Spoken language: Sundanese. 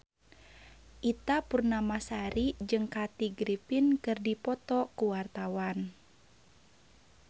Ita Purnamasari jeung Kathy Griffin keur dipoto ku wartawan